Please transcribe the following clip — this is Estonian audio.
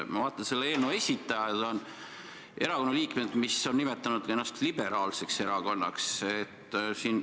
Ma vaatan, selle eelnõu esitajad on erakonna liikmed, mis on nimetanud ennast liberaalseks erakonnaks.